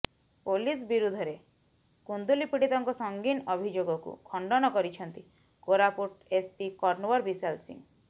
police ବିରୋଧରେ କୁନ୍ଦୁଲି ପୀଡ଼ିତାଙ୍କ ସଙ୍ଗୀନ ଅଭିଯୋଗକୁ ଖଣ୍ଡନ କରିଛନ୍ତି କୋରାପୁଟ ଏସ୍ପି କନ୍ଓ୍ୱର ବିଶାଲ ସିଂହ